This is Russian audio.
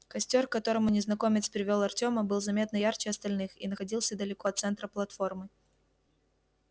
костёр к которому незнакомец привёл артёма был заметно ярче остальных и находился далеко от центра платформы